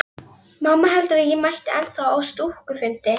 Rafmagnsveitum ríkisins falið að annast rekstur og áframhaldandi framkvæmdir við